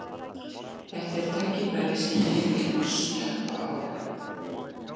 Þetta er tækifæri sem ég vil stökkva á.